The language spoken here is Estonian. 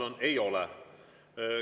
Vastus: ei ole.